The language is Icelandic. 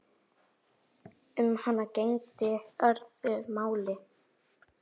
Um hana gegndi öðru máli.